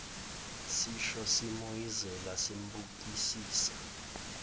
sisho simoyizela simbukisisa